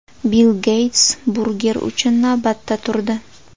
Bill Geyts burger uchun navbatda turdi .